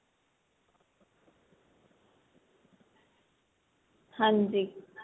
ਹਾਂਜੀ